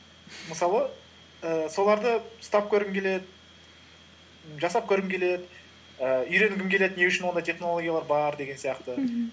мысалы ііі соларды ұстап көргің келеді жасап көргің келеді і үйренгің келеді не үшін ондай технологиялар бар деген сияқты